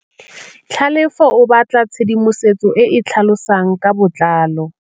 Tlhalefô o batla tshedimosetsô e e tlhalosang ka botlalô.